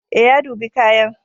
Ee, ya dubi kayan.